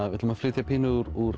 við ætlum að flytja pínu úr